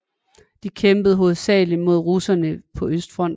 De kæmpede hovedsageligt mod russerne på Østfronten